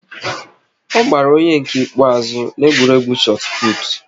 Ọ gbara onye nke ikpeazụ n'egwuregwu chot put